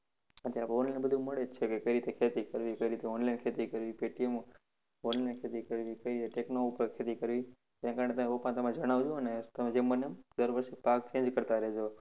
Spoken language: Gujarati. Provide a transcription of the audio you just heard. અત્યારે online બધું મળે જ છે કે કઈ રીતે ખેતી કરવી? કેવી રીતે online ખેતી કરવી. કે કેવું વન્ય ખેતી કરવી કે ઉપર ખેતી કરવી. તે તમારા પપ્પાને જણાવજો અને તમે જેમ બને એમ દર વર્ષે પાક change કરતા રેહજો.